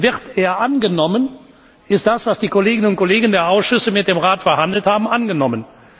Wird er angenommen, ist das, was die Kolleginnen und Kollegen der Ausschüsse mit dem Rat verhandelt haben, angenommen.